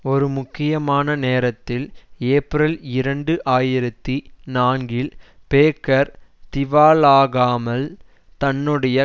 ஒரு முக்கியமான நேரத்தில் ஏப்ரல் இரண்டு ஆயிரத்தி நான்கில் பேக்கர் திவாலாகாமல் தன்னுடைய